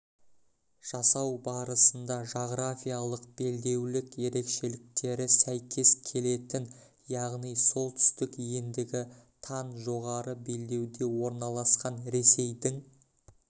жасау барысында жағрафиялық белдеулік ерекшеліктері сәйкес келетін яғни солтүстік ендігі -тан жоғары белдеуде орналасқан ресейдің